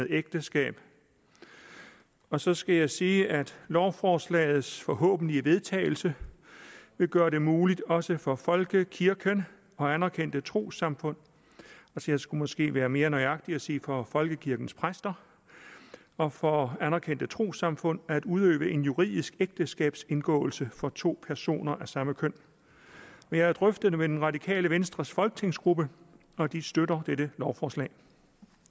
ægteskab og så skal jeg sige at lovforslagets forhåbentlige vedtagelse vil gøre det muligt også for folkekirken og anerkendte trossamfund jeg skulle måske være mere nøjagtig og sige for folkekirkens præster og for anerkendte trossamfund at udøve en juridisk ægteskabsindgåelse for to personer af samme køn jeg har drøftet det med det radikale venstres folketingsgruppe og de støtter dette lovforslag